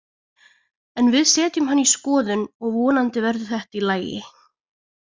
En við setjum hann í skoðun og vonandi verður þetta í lagi.